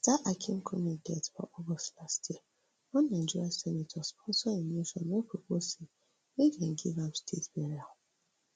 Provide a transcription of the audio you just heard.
after akinkunmi death for august last year one nigerian senator sponsor a motion wey propose say make dem give am state burial